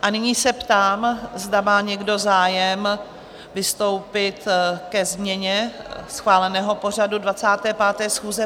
A nyní se ptám, zda má někdo zájem vystoupit ke změně schváleného pořadu 25. schůze?